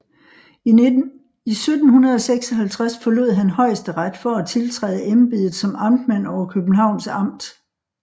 I 1756 forlod han Højesteret for at tiltræde embedet som amtmand over Københavns Amt